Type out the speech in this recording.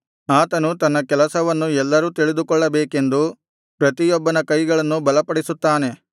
ಆತನು ತನ್ನ ಕೆಲಸವನ್ನು ಎಲ್ಲರೂ ತಿಳಿದುಕೊಳ್ಳಬೇಕೆಂದು ಪ್ರತಿಯೊಬ್ಬನ ಕೈಗಳನ್ನು ಬಲಪಡಿಸುತ್ತಾನೆ